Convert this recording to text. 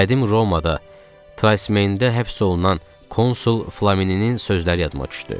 Qədim Romada Trasimen gölündə həbs olunan konsul Flamini'nin sözləri yadıma düşdü.